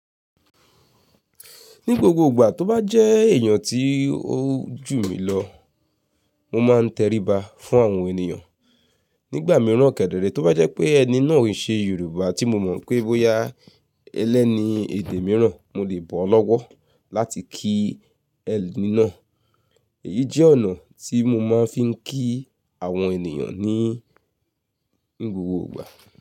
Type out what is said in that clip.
Ní gbogbo ìgbà tó bá jẹ́ èèyàn tí ó jù mí lọ, mo máa ń teriba fún àwọn ènìyàn. Nígbà mìíràn kẹ̀dẹ̀rẹ̀ tó bá jẹ́ pé ẹni náà ò ṣe Yorùbá tí mo mọ̀ pé bóyá ẹlẹ́ni èdè mìíràn mo lè bọ́ ọ́ lọ́wọ́ láti kí ẹni náà. Èyí jẹ́ ọ̀nà tí mo máa ń fi ń kí àwọn ènìyàn ní ni gbogbo ìgbà.